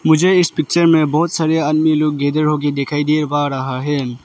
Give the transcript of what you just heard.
मुझे इस पिक्चर में बहुत सारे आदमी लोग गेदर होके दिखाई दे पा रहा है।